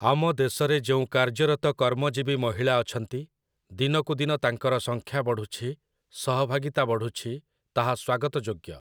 ଆମ ଦେଶରେ ଯେଉଁ କାର୍ଯ୍ୟରତ କର୍ମଜୀବୀ ମହିଳା ଅଛନ୍ତି, ଦିନକୁ ଦିନ ତାଙ୍କର ସଂଖ୍ୟା ବଢ଼ୁଛି, ସହଭାଗିତା ବଢ଼ୁଛି, ତାହା ସ୍ୱାଗତଯୋଗ୍ୟ ।